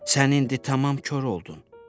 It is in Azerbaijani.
Sən indi tamam kor oldun.